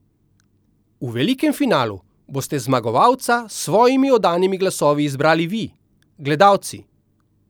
V velikem finalu boste zmagovalca s svojimi oddanimi glasovi izbrali vi, gledalci!